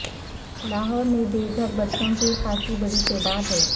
لاہور میں بےگھر بچوں کی خاصی بڑی تعداد ہے